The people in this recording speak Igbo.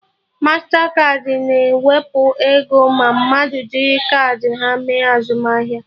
Mastakaadị na-ewepụ ego ma mmadụ jiri kaadị ha mee azụmahịa